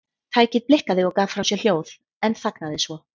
Tækið blikkaði og gaf frá sér hljóð en þagnaði svo.